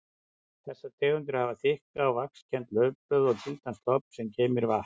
Þessar tegundir hafa þykk og vaxkennd laufblöð og gildan stofn sem geymir vatn.